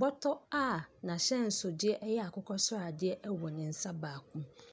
bɔtɔ a n'ahyɛnsodeɛ yɛ akokɔ sradeɛ wɔ ne nsa baako mu.